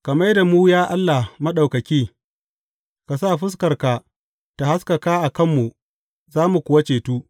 Ka mai da mu, ya Allah Maɗaukaki; ka sa fuskarka ta haskaka a kanmu za mu kuwa cetu.